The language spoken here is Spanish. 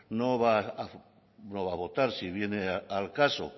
no va a votar si viene al caso